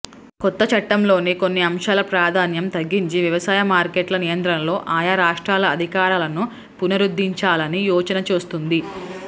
కొత్త చట్టంలోని కొన్ని అంశాల ప్రాధాన్యం తగ్గించి వ్యవసాయ మార్కెట్ల నియంత్రణలో ఆయా రాష్ట్రాల అధికారాలను పునరుద్ధరించాలని యోచన చేస్తోంది